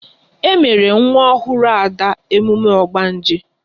E mere nwa ọhụrụ Ada emume ogbanje